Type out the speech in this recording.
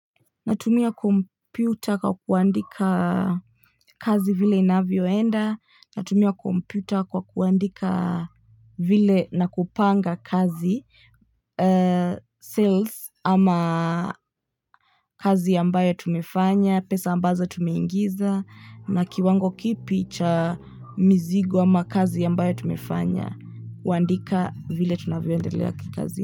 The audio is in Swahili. Natumia kompyuta kwa kuandika kazi vile inavyoenda, natumia kompyuta kwa kuandika vile na kupanga kazi, sales ama kazi ambayo tumefanya, pesa ambazo tumeingiza, na kiwango kipi cha mizigo ama kazi ambayo tumefanya, kuandika vile tunavyoendelea kikazi.